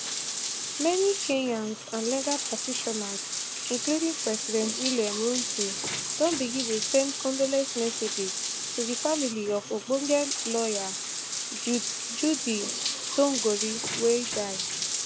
many kenyans and legal practitioners including president william ruto don begin dey send condolence messages to di family of ogbonge lawyer judy thongori wey die